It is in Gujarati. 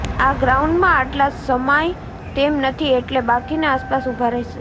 આ ગ્રાઉન્ડમાં આટલા સમાય તેમ નથી એટલે બાકીના આસપાસ ઉભા રહેશે